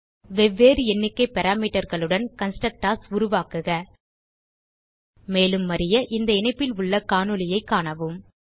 வெவ்வேறு எண்ணிக்கை parameterகளுடன் கன்ஸ்ட்ரக்டர்ஸ் உருவாக்குக மேலும் அறிய இந்த இணைப்பில் உள்ள காணொளியைக் காணவும்